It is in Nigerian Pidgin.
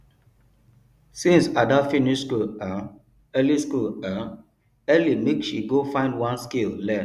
since ada finish school um early school um early make she go find one skill learn